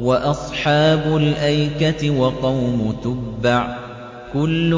وَأَصْحَابُ الْأَيْكَةِ وَقَوْمُ تُبَّعٍ ۚ كُلٌّ